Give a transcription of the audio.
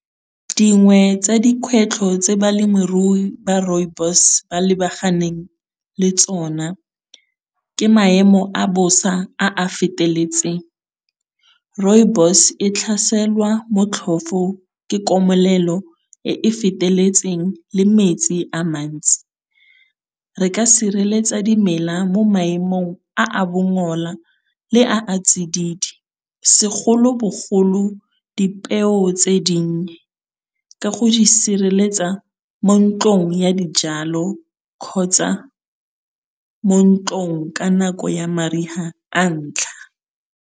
Dingwe tsa dikgwetlho tse balemirui ba rooibos ba lebaganeng le tsona, ke maemo a bosa a a feteletseng. Rooibos e tlhaselwa motlhofo ke komelelo e e feteletseng le metsi a mantsi. Re ka sireletsa dimela mo maemong a a bongola le a a tsididi, segolo bogolo dipeo tse dinnye ka go di sireletsa mo ntlong ya dijalo kgotsa mo ntlong ka nako ya mariga a ntlha.